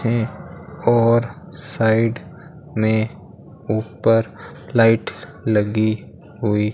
है और साइड में ऊपर लाइट लगी हुई --